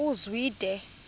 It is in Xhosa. uzwide